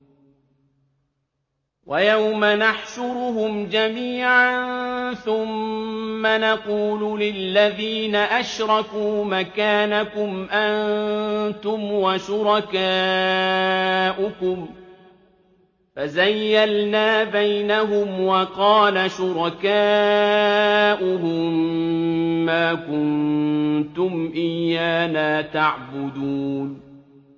وَيَوْمَ نَحْشُرُهُمْ جَمِيعًا ثُمَّ نَقُولُ لِلَّذِينَ أَشْرَكُوا مَكَانَكُمْ أَنتُمْ وَشُرَكَاؤُكُمْ ۚ فَزَيَّلْنَا بَيْنَهُمْ ۖ وَقَالَ شُرَكَاؤُهُم مَّا كُنتُمْ إِيَّانَا تَعْبُدُونَ